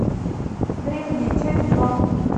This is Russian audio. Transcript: древние часть два